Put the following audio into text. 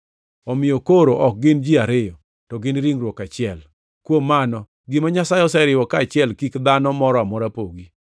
Omiyo koro ok gin ji ariyo, to gin ringruok achiel. Kuom mano, gima Nyasaye oseriwo kaachiel kik dhano moro amora pogi.”